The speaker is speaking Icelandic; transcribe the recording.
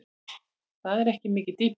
Það er ekki mikið dýpi.